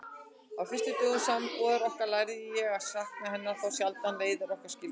Á fyrstu dögum sambúðar okkar lærði ég að sakna hennar þá sjaldan leiðir okkar skildi.